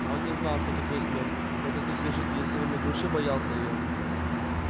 он не знал что такое смерть но как и все жители северной глуши боялся её